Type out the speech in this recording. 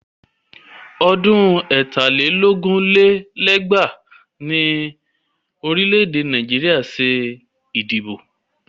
Ọdún ẹ̀ta lé lógún lé lẹ́gbàá ni orílẹ̀ Nàìjíríà ṣe ìdìbò.